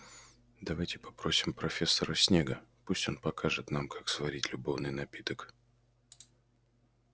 давайте попросим профессора снегга пусть он покажет нам как сварить любовный напиток